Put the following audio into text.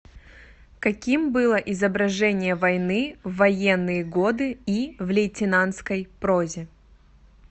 каким было изображение войны в военные годы и в лейтенантской прозе